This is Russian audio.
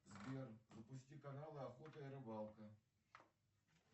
сбер запусти канал охота и рыбалка